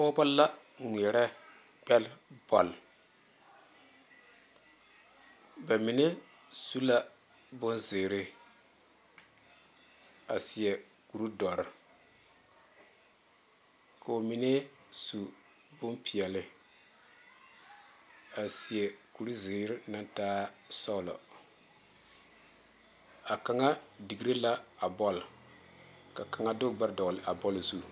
Pɔgebo la ŋmeɛrɛ gbere bol ba mine su bonziiri a seɛ kur doɔre ko'o mine su bonpeɛle a seɛ kuri ziiri naŋ taa sɔglɔ a kaŋa dere la a bol ka kaŋa de o gbe dogle a bol zu.